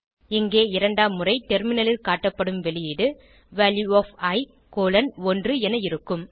இங்கே இரண்டாம் முறை டெர்மினலில் காட்டப்படும் வெளியீடு வால்யூ ஒஃப் இ கோலோன் 1 என இருக்கும்